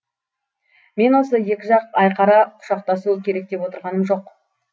мен осы екі жақ айқара құшақтасуы керек деп отырғаным жоқ